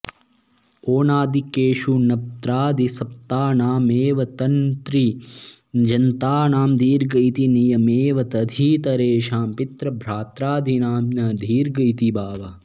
औणादिकेषु नप्त्रादिसप्तानामेव तृन्तृजन्तानां दीर्घ इति नियमेव तदितरेषां पितृभ्रात्रादीनां न दीर्घ इति भावः